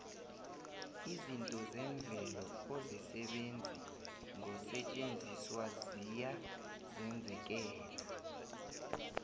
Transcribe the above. izinto zemvelo ozisebenzi ngosetjenziswa ziya zenzekela